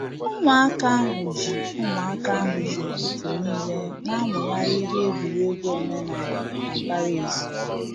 Ụmụaka ahụ ji Ụmụaka ahụ ji ụtụtụ n'ile na-amụgharị ihe egwuregwu omenala na mbara ezi